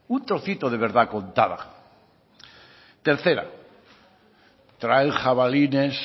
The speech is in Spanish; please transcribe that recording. un trocito de verdad contada tercera traen jabalines